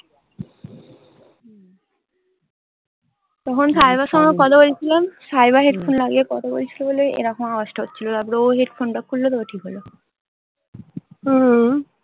তখন সাইবার সঙ্গে কথা বলছিলাম। সাইবার headphone লাগিয়ে কথা বলছিলো বলে এরকম আওয়াজটা হচ্ছিলো। তারপরে ও headphone টা খুললো তারপরে ঠিক হলো।